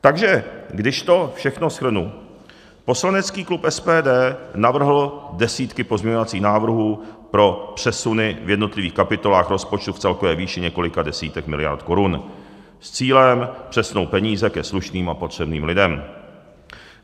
Takže když to všechno shrnu, poslanecký klub SPD navrhl desítky pozměňovacích návrhů pro přesuny v jednotlivých kapitolách rozpočtu v celkové výši několika desítek miliard korun s cílem přesunout peníze ke slušným a potřebným lidem.